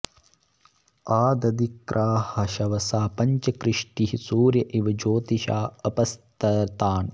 आ द॑धि॒क्राः शव॑सा॒ पञ्च॑ कृ॒ष्टीः सूर्य॑ इव॒ ज्योति॑षा॒ऽपस्त॑तान